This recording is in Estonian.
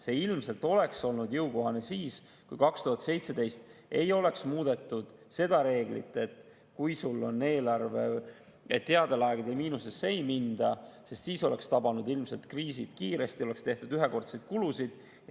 See ilmselt oleks olnud jõukohane siis, kui 2017 ei oleks muudetud seda reeglit, et headel aegadel miinusesse ei minda, sest siis ilmselt oleksid kriisid tabanud kiiresti, oleks tehtud ühekordseid kulusid.